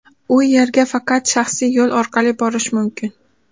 U yerga faqat shaxsiy yo‘l orqali borish mumkin.